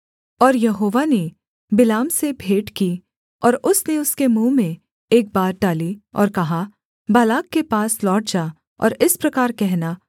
और यहोवा ने बिलाम से भेंट की और उसने उसके मुँह में एक बात डाली और कहा बालाक के पास लौट जा और इस प्रकार कहना